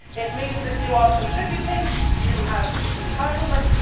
This means that if you are contributing, you have entitlements.